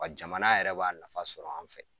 Wa jamana yɛrɛ b'a nafa sɔrɔ an fɛ